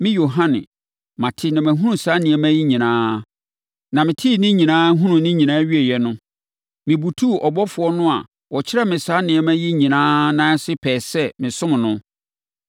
Me, Yohane, mate na mahunu saa nneɛma yi nyinaa. Na metee ne nyinaa, hunuu ne nyinaa wieeɛ no, mebutuu ɔbɔfoɔ no a ɔkyerɛɛ me saa nneɛma yi nyinaa nan ase pɛɛ sɛ mesom no.